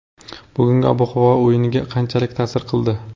Bugungi ob-havo o‘yinga qanchalik ta’sir qildi?